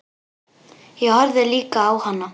Ég horfði líka á hana.